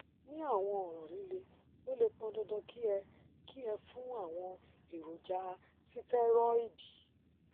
ní àwọn ọràn líle ó lè pọn dandan kí ẹ kí ẹ fún àwọn èròjà sítẹrọìdì